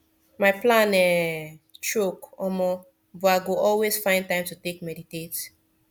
my plan um choke omo but i go always find time to take meditate